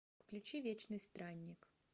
включи вечный странник